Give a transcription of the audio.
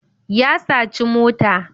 ya saci mota